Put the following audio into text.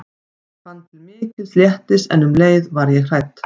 Ég fann til mikils léttis en um leið var ég hrædd.